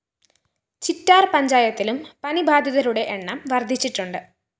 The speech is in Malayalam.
ചിറ്റാര്‍ പഞ്ചായത്തിലും പനിബാധിതരുടെ എണ്ണം വര്‍ദ്ധിച്ചിട്ടുണ്ട്